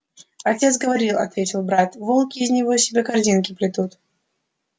отец говорил ответил брат волки из него себе корзинки плетут